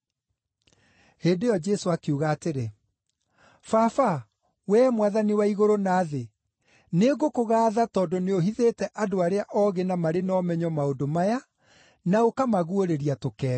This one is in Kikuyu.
Hĩndĩ ĩyo Jesũ akiuga atĩrĩ, “Baba, wee Mwathani wa igũrũ na thĩ, nĩngũkũgaatha tondũ nĩũhithĩte andũ arĩa oogĩ na marĩ na ũmenyo maũndũ maya, na ũkamaguũrĩria tũkenge.